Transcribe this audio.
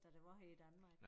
Da det var her i Danmark